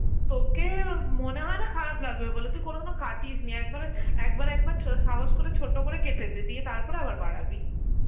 তোকে মনে হয় না খারাপ লাগবে বলে, তুই কোনদিনও কাটিস নি একবারে একবার একবার ছো~ সাহস করে ছোট করে কেটে দে, দিয়ে তারপরে আবার বাড়াবি